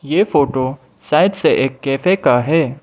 ये फोटो शायद से एक कैफे का है।